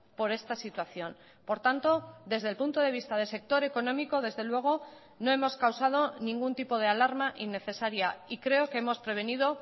por esta situación por tanto desde el punto de vista del sector económico desde luego no hemos causado ningún tipo de alarma innecesaria y creo que hemos prevenido